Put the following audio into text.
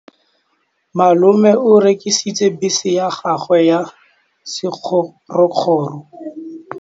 Malome o rekisitse bese ya gagwe ya sekgorokgoro.